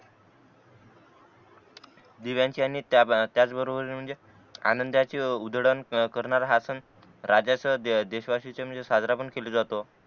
दिव्यांचे आणि त्या आ त्याच बरोबर म्हणजे आनंदाचे उजळण करणार हा सन राजाच देशवाशीच म्हणजे साजरा केला जातो